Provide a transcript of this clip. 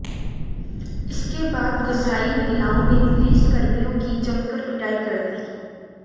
इसके बाद गुस्साई महिलाओं ने पुलिस कर्मियों की जमकर पिटाई कर दी